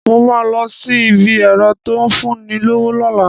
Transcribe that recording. Mo ma lọ sí ibi ẹ̀rọ́ tó ń fún ni lówó lọ́la